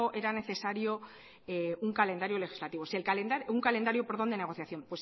era necesario un calendario de negociación